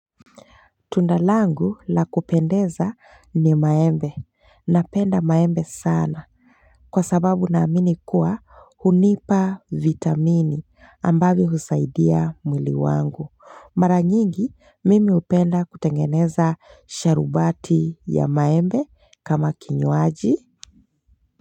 Tunda langu la kupendeza ni maembe. Napenda maembe sana. Kwa sababu naamini kuwa hunipa vitamini ambavyo husaidia mwili wangu. Mara nyingi mimi hupenda kutengeneza sharubati ya maembe kama kinywaji.